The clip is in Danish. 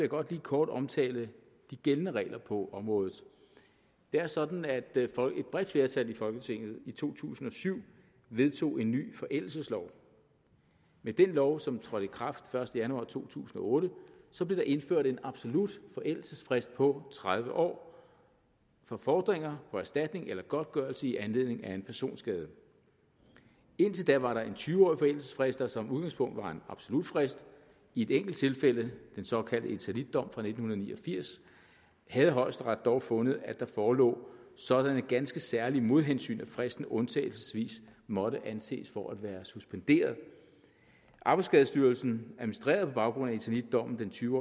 godt lige kort omtale de gældende regler på området det er sådan at et bredt flertal i folketinget i to tusind og syv vedtog en ny forældelseslov med den lov som trådte i kraft den første januar to tusind og otte blev der indført en absolut forældelsesfrist på tredive år for fordringer på erstatning eller godtgørelse i anledning af en personskade indtil da var der en tyve årig forældelsesfrist der som udgangspunkt var en absolut frist i et enkelt tilfælde den såkaldte eternitdom fra nitten ni og firs havde højesteret dog fundet at der forelå sådanne ganske særlige modhensyn at fristen undtagelsesvis måtte anses for at være suspenderet arbejdsskadestyrelsen administrerede på baggrund af eternitdommen den tyve